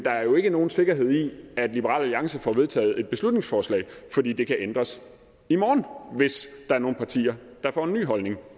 er jo ikke nogen sikkerhed ved at liberal alliance får vedtaget et beslutningsforslag fordi det kan ændres i morgen hvis der er nogle partier der får en ny holdning